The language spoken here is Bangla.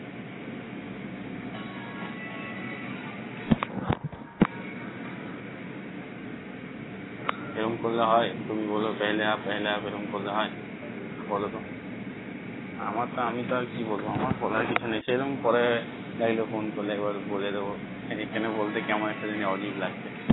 এরম করলে হয় তুমি বল পহেলা পহেলা এরম করলে হয় বলতো আমার তো আমি তো আমার বলার কিছু নেই সে রকম করে ভাবলাম phone করে একবার বলে দেবো phone a phone বলতে কেমন যেন একটা অজিব লাগছে